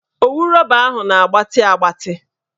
Owu rọba ahụ na-agbatị agbatị